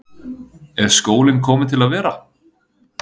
Er skólinn kominn til að vera?